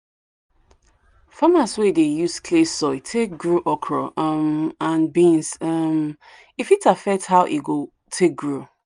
farmers wey dey use clay soil take grow okra um and beans um e fit affect how e go take grow.